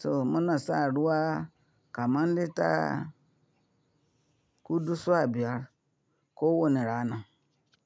Toh munasa ruwa kullum kaman lita hudu su biyar ko wani rana.